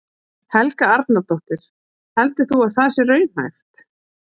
Helga Arnardóttir: Heldur þú að það sé raunhæft?